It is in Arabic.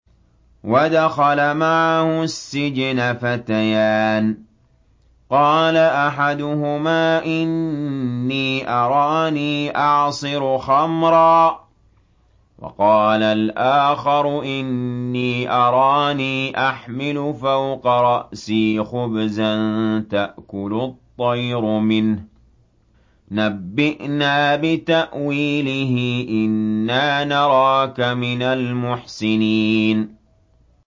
وَدَخَلَ مَعَهُ السِّجْنَ فَتَيَانِ ۖ قَالَ أَحَدُهُمَا إِنِّي أَرَانِي أَعْصِرُ خَمْرًا ۖ وَقَالَ الْآخَرُ إِنِّي أَرَانِي أَحْمِلُ فَوْقَ رَأْسِي خُبْزًا تَأْكُلُ الطَّيْرُ مِنْهُ ۖ نَبِّئْنَا بِتَأْوِيلِهِ ۖ إِنَّا نَرَاكَ مِنَ الْمُحْسِنِينَ